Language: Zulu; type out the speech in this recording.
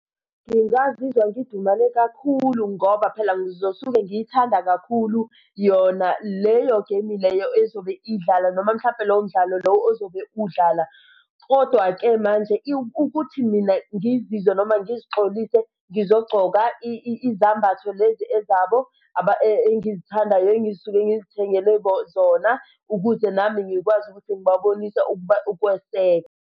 Ngingazizwa ngidumale kakhulu ngoba phela ngizosuke ngiyithanda kakhulu yona leyo game leyo ezobe idlala noma mhlampe lowo mdlalo lowo ozobe udlala. Kodwa-ke manje ukuthi mina ngizizwe noma ngizixolise ngizogqoka izambatho lezi ezabo engizithandayo engisuke ngizithengele zona, ukuze nami ngikwazi ukuthi ngibabonise ukuba ukweseka.